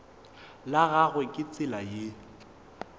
la gagwe ke tsela ye